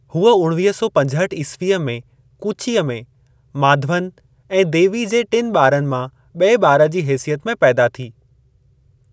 हूअ उणवीह सौ पंजहठि ईस्वीअ में कूचीअ में, माधवन ऐं देवी जे टिनि ॿारनि मां ॿिए ॿार जी हेसियत में पैदा थी।